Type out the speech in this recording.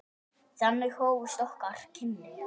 Þannig hófust okkar kynni.